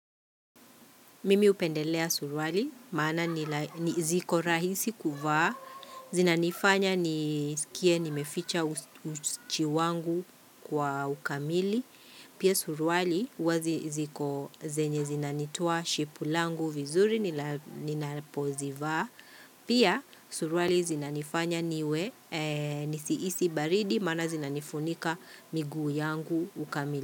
Mimi upendelea suruali, maana nila ziko rahisi kuvaa, zina nifanya ni nisikie nimeficha uchi wangu kwa ukamili, pia suruali wazi ziko zenye zina nitoa shepu langu vizuri, ninapo zivaa, pia suruali zina nifanya niwe, nisi hisi baridi, maana zina nifunika miguu yangu ukamili.